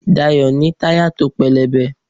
Dayo ní tayá to pelebè